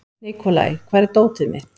Nikolai, hvar er dótið mitt?